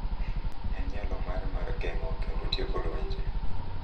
En nyalo mare mar geng’o kendo tieko lwenje.